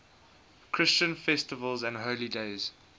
christian festivals and holy days